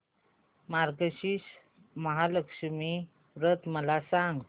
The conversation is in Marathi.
मार्गशीर्ष महालक्ष्मी व्रत मला सांग